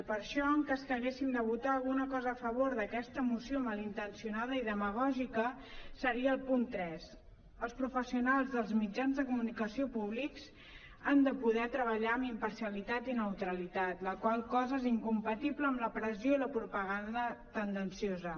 i per això en cas que haguéssim de votar alguna cosa a favor d’aquesta moció malintencionada i demagògica seria el punt tres els professionals dels mitjans de comunicació públics han de poder treballar amb imparcialitat i neutralitat la qual cosa és incompatible amb la pressió i la propaganda tendenciosa